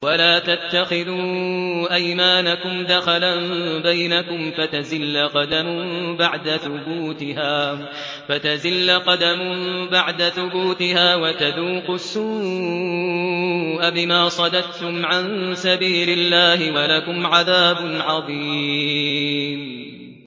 وَلَا تَتَّخِذُوا أَيْمَانَكُمْ دَخَلًا بَيْنَكُمْ فَتَزِلَّ قَدَمٌ بَعْدَ ثُبُوتِهَا وَتَذُوقُوا السُّوءَ بِمَا صَدَدتُّمْ عَن سَبِيلِ اللَّهِ ۖ وَلَكُمْ عَذَابٌ عَظِيمٌ